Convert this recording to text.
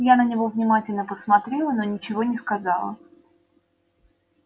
я на него внимательно посмотрела но ничего не сказала